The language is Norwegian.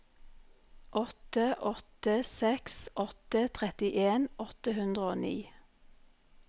åtte åtte seks åtte trettien åtte hundre og ni